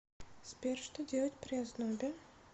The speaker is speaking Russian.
сбер что делать при ознобе